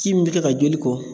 Ji min bɛ kɛ ka joli kɔ